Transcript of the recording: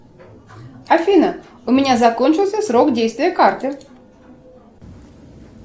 афина у меня закончился срок действия карты